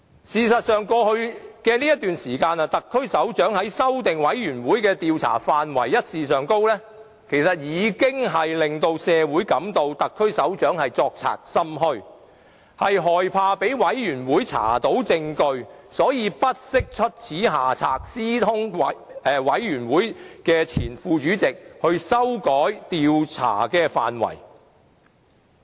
事實上，在過去的一段時間，特區首長修改專責委員會的調查範圍一事已令社會覺得特區首長作賊心虛，害怕被專責委員會查出證據，因而才會不惜出此下策，私通專責委員會前任副主席修改調查範圍。